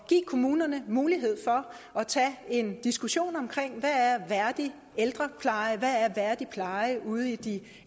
at give kommunerne mulighed for at tage en diskussion af hvad værdig ældrepleje hvad værdig pleje ude i de